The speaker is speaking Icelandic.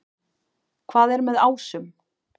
Hvað er með ásum?